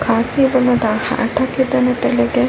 ಇಲ್ಲಿ ನೀರಿನ ಬಣ್ಣ ಹಸಿರು ಮತ್ತು ಕಪ್ಪಾಗಿ ಕಾಣುತ್ತಿದೆ.